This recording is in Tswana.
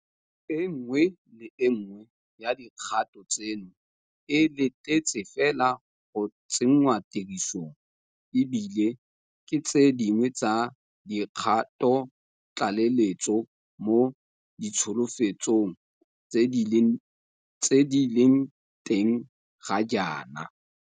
E nngwe le e nngwe ya dikgato tseno e letetse fela go tsenngwa tirisong, e bile ke tse dingwe tsa dikgatotlaleletso mo ditsholofetsong tse di leng teng ga jaana.